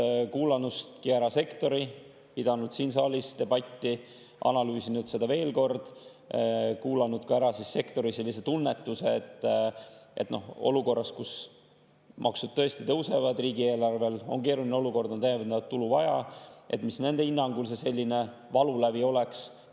Oleme kuulanud ära sektori, pidanud siin saalis debatti, analüüsinud veel kord ja oleme kuulanud ka ära sektori tunnetuse, et mis nende hinnangul olukorras, kus maksud tõesti tõusevad, riigieelarve on keerulises olukorras, täiendavat tulu on vaja, see valulävi oleks.